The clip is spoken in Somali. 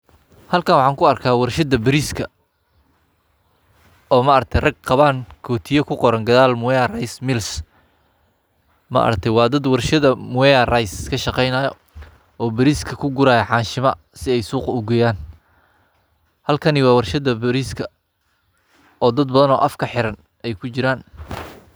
Halkan waxan ku arka warshada bariska oo ma aragte rag qawan kotiyo kuqoran gadal mwea rice Mills maa aragte wa daad warshada mwea rice kasheqenayo oo bariska kugurayo xanshimo si ey suuqa ugeyan halkani waa warshada bariska oo dad badan oo afka xiran oo kujiran.